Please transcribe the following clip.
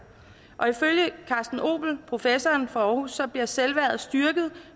og ifølge carsten opel professoren for aarhus bliver selvværdet styrket